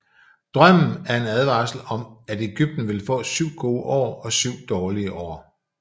Drømmen er en advarsel om at Egypten vil få syv gode år og syv dårlige år